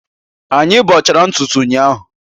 Anyị bọchara ntutu ụnyahụ